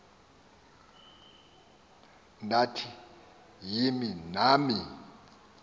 ndathi yimini yam